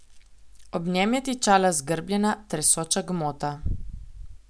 Ob njem je tičala zgrbljena, tresoča gmota.